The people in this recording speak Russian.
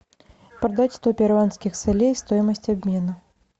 продать сто перуанских солей стоимость обмена